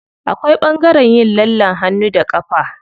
Akwai ɓangaren yin lallen hannu da ƙafa.